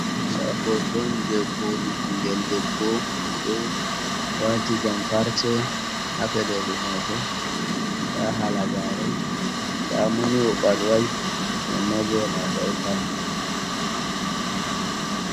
Da hoton je koli ɓingel debbo mo do wati jam parse ha peɗeli mako da hala gare ɗamoni oɓalwai amma bow olabai tal